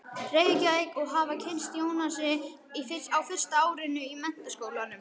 Reykjavík og hafa kynnst Jónasi á fyrsta árinu í Menntaskólanum.